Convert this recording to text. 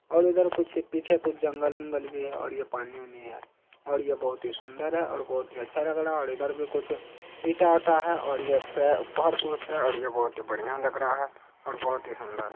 और ऊधर कुछ पीछे कुछ जंगल- वंगल भी है और ये पानी-ओनी भी है और ये बहुत ही सुंदर है और बहुत ही अच्छा लग रहा है और इधर कुछ ईंटा-ओटा है और ये फर्श-ऑर्श है और ये बहुत ही बढ़िया लग रहा है बहुत ही सुंदर।